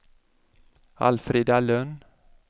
Alfrida Lönn